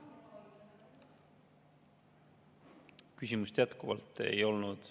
Küsimust jätkuvalt ei olnud.